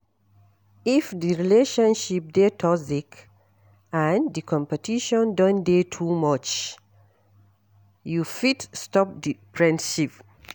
If di relationship dey toxic and di competition don dey too much you fit stop di friendship